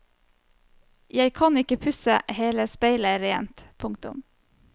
Jeg kan ikke pusse hele speilet rent. punktum